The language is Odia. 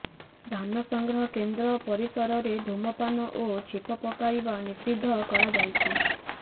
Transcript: ଧାନ ସଂଗ୍ରହ କେନ୍ଦ୍ର ପରିସରରେ ଧୂମପାନ ଓ ଛେପ ପକାଇବା ନିଷିଦ୍ଧ କରାଯାଇଛି